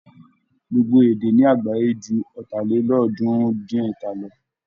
Gbogbo èdè ní àgbááyé ju Ọ̀tàlélọ́ọ̀ọ́dúnrún-dín-ẹ̀ta lọ.